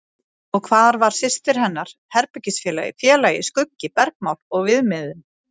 Og hvar var systir hennar, herbergisfélagi, félagi, skuggi, bergmál og viðmiðun?